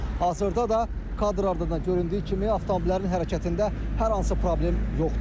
Hazırda da kadrlardan göründüyü kimi avtomobillərin hərəkətində hər hansı problem yoxdur.